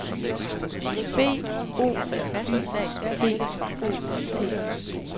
B O Y C O T